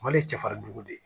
Mali ye cɛfarin de ye